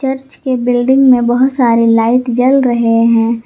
Church के building में बहुत सारे लाइट जल रहे हैं।